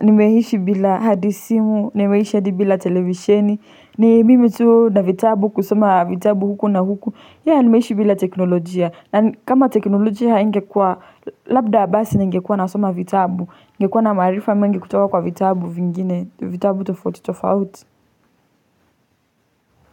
nimeishi bila hadi simu, nimeishi hadi bila televisheni, ni mimi tu na vitabu kusoma vitabu huku na huku, ya nimeishi bila teknolojia. Na kama teknolojia haingekua, labda basi ningekua nasoma vitabu, ningekua na maarifa mengi kutowa kwa vitabu vingine, vitabu tofauti tofauti.